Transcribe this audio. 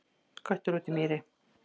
Köttur út í mýri